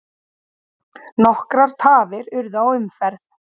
Nokkrar tafir urðu á umferð.